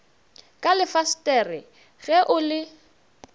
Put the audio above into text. ka lefasetere ge o le